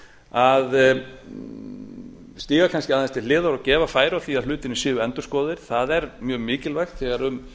að stíga kannski aðeins til hliðar og gefa færi á því að hlutirnir séu endurskoðaðir það er mjög mikilvægt þegar um